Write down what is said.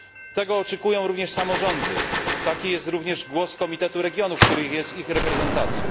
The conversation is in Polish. Tego oczekują również samorządy, taki jest również głos Komitetu Regionów, który jest ich reprezentacją.